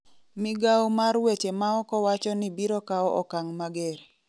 migao mar weche maoko wachoni "biro kawo okang' mager"